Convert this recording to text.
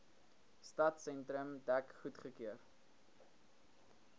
stadsentrum dek goedgekeur